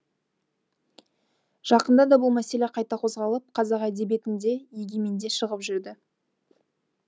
жақында да бұл мәселе қайта қозғалып қазақ әдебиетінде егеменде шығып жүрді